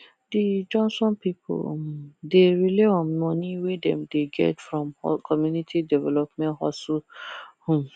the johnson people um dey rely on money wey dem dey get from community development hustle um